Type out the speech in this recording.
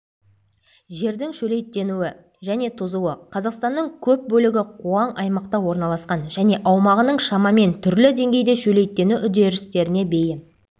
жердің шөлейттенуі және тозуы қазақстанның көп бөлігі қуаң аймақта орналасқан және аумағының шамамен түрлі деңгейде шөлейттену үдерістеріне бейім